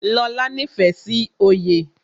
Lóla nífẹ̀ẹ́ sí oyè